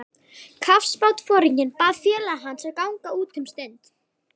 Kafbátsforinginn bað félaga hans að ganga út um stund.